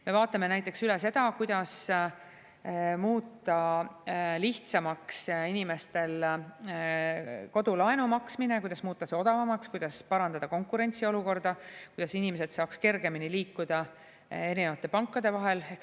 Me vaatame näiteks üle seda, kuidas muuta lihtsamaks inimestel kodulaenu maksmine, kuidas muuta see odavamaks, kuidas parandada konkurentsiolukorda, kuidas inimesed saaksid kergemini liikuda erinevate pankade vahel.